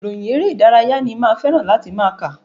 Ìròyìn eré ìdárayá ni máa fẹ́ràn láti máa kà.